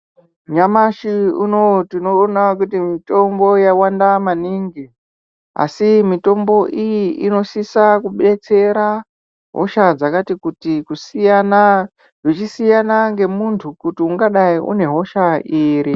Nyamashi unowu tinoona kuti mitombo yawanda maningi asi mitombo iyi inosisa kudetsera hosha dzakati kuti kusiyana zvichisiyana nemuntu kuti ungadai une hosha iri.